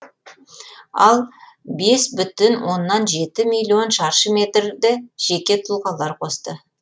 ал бес бүтін оннан жеті миллион шаршы метрді жеке тұлғалар қосты